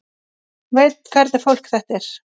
Veit hvernig fólk þetta er.